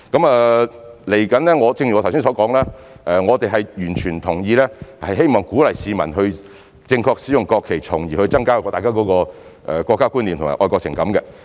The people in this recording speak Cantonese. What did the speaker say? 未來正如我剛才所說，我們完全同意，並希望能鼓勵市民正確地使用國旗，從而增加大家的國家觀念和愛國情感。